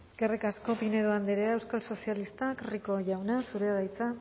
eskerrik asko pinedo andrea euskal sozialistak rico jauna zurea da hitza